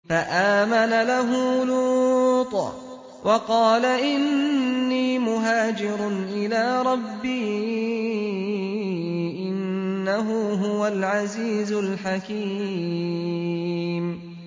۞ فَآمَنَ لَهُ لُوطٌ ۘ وَقَالَ إِنِّي مُهَاجِرٌ إِلَىٰ رَبِّي ۖ إِنَّهُ هُوَ الْعَزِيزُ الْحَكِيمُ